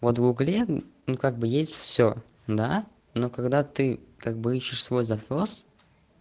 вот в гугле ну как бы есть всё да но когда ты как бы ещё свой запрос